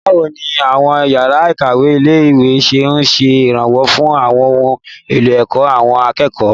Báwo ni àwọn yàrá ìkàwé ilé-ìwé ṣe ń ṣe ìrànwọ́ fún àwọn ohun èlò ẹ̀kọ́ àwọn akẹ́kọ̀ọ́?